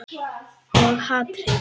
Og hatrið.